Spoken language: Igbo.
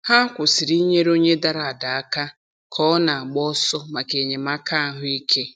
Ha kwụsịrị inyere onye dara ada aka ka ọ na-agba ọsọ maka enyemaka ahụike.